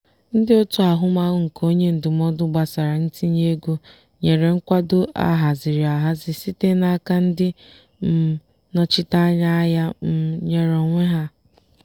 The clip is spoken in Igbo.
ndị otu ahụmahụ nke onye ndụmọdụ gbasara ntinye ego nyere nkwado ahaziri ahazi site n'aka ndị um nnọchiteanya ahịa um nyere onwe ha.